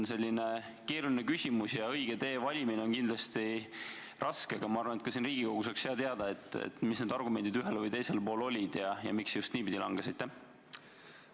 See on keeruline küsimus ja õige tee valimine on kindlasti raske, aga ma arvan, et ka siin Riigikogus oleks hea teada, mis need argumendid ühel või teisel pool olid ja miks see just niipidi langetati.